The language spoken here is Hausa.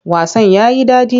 Wasan ya yi daɗi.